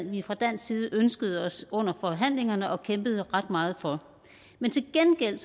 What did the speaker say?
vi fra dansk side ønskede os under forhandlingerne og kæmpede ret meget for men til gengæld